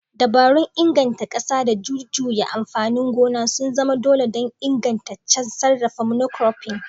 Dabarun inganta ƙasa da jujjuya amfanin gona sun zama dole don ingantaccen sarrafa monocropping.